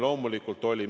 Loomulikult olid.